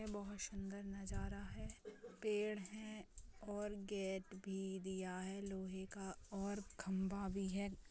बहुत सुन्दर नजारा है पेड़ है और गेट भी दिया है लोहे का और खंबा भी है।